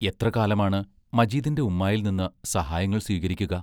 എത്ര കാലമാണ് മജീദിന്റെ ഉമ്മായിൽ നിന്ന് സഹായങ്ങൾ സ്വീകരിക്കുക.